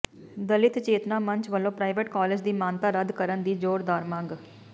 ਦਲਿਤ ਚੇਤਨਾ ਮੰਚ ਵੱਲੋਂ private college ਦੀ ਮਾਨਤਾ ਰੱਦ ਕਰਨ ਦੀ ਜ਼ੋਰਦਾਰ ਮੰਗ